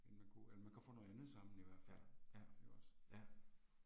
End man kunne, eller man kan få noget andet sammen i hvert fald, ikke også